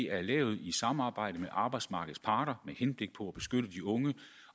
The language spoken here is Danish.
er lavet i samarbejde med arbejdsmarkedets parter med henblik på at beskytte de unge